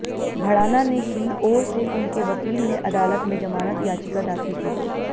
भड़ाना ने की ओर से उनके वकील ने अदालत में जमानत याचिका दाखिल की